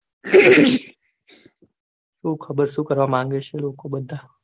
સુ ખબર સુ કરવા માંગે છે લોકો બધા